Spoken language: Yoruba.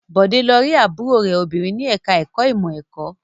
Bọ̀dé lọ rí àbúrò rẹ̀ obìnrin ní ẹ̀ka-ẹ̀kọ́ ìmọ̀-ẹ̀kọ́.